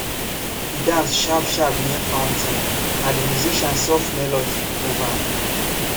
e dance sharp sharp near fountain na de musician soft melody move ahm